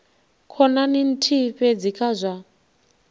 khonani nthihi fhedzi kha zwa